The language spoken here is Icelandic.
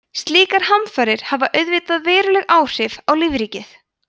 slíkar hamfarir hafa auðvitað veruleg áhrif á lífríkið